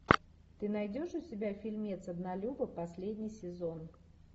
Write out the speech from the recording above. ты найдешь у себя фильмец однолюбы последний сезон